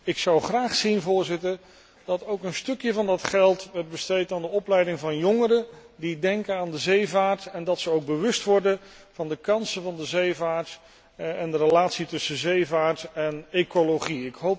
Ik zou graag zien, Voorzitter, dat ook een deel van dat geld werd besteed aan de opleiding van jongeren die denken aan de zeevaart, zodat ze ook bewust worden van de kansen van de zeevaart en de relatie tussen zeevaart en ecologie.